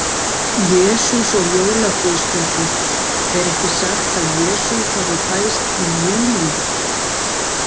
Jesús og jólaguðspjallið Er ekki sagt að Jesú hafi fæðst í júlí.